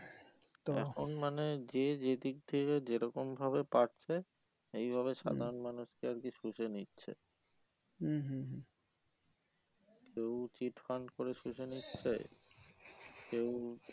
এখন মানে যে যেদিক থেকে যেরকম ভাবে পারছে এই ভাবে সাধারণ মানুষ কে আর কি শুষে নিচ্ছে কেও cheat fund করে শুষে নিচ্ছে কেও